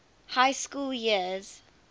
high school years